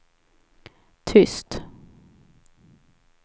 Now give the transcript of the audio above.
tyst